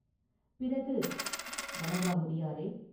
பிறகு, “வணங்காமுடியாரே!